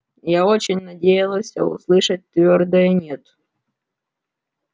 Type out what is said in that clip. я очень надеялся услышать твёрдое нет